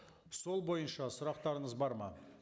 сол бойынша сұрақтарыңыз бар ма